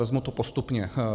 Vezmu to postupně.